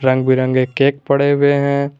रंग बिरंगे केक पड़े हुए हैं।